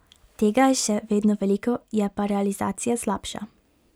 Tega je še vedno veliko, je pa realizacija slabša.